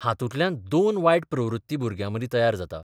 हातूंतल्यान दोन वायट प्रवृत्ती भुरग्या मर्दी तयार जातात.